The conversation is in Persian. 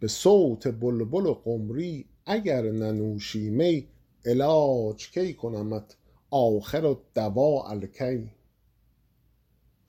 به صوت بلبل و قمری اگر ننوشی می علاج کی کنمت آخرالدواء الکی